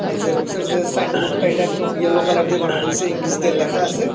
আর জেরক্সের যে সাইনবোর্ডটা এটা একদম ইয়োলো কালার দিয়ে বানায় রয়েছে আর ইংলিশ দিয়ে লেখা আসে ।